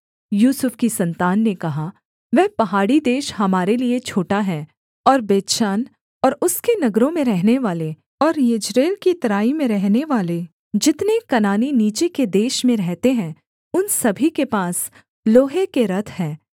यूसुफ की सन्तान ने कहा वह पहाड़ी देश हमारे लिये छोटा है और बेतशान और उसके नगरों में रहनेवाले और यिज्रेल की तराई में रहनेवाले जितने कनानी नीचे के देश में रहते हैं उन सभी के पास लोहे के रथ हैं